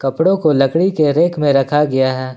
कपड़ों को लकड़ी के रेक में रखा गया है।